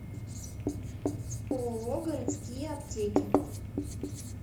ооо городские аптеки